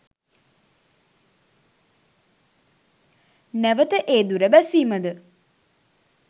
නැවත ඒ දුර බැසීමද